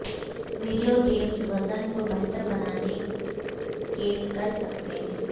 video games vision کو بہتر بنانے کے کر سکتے ہیں